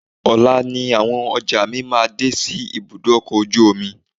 Ọ̀la ni àwọn ọjà mi máa dé sí ibùdó ọkọ̀ ojú omi.